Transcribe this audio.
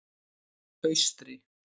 Austri